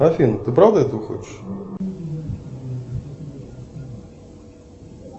афина ты правда этого хочешь